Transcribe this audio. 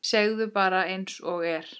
Segðu bara einsog er.